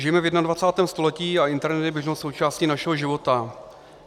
Žijeme v 21. století a internet je běžnou součástí našeho života.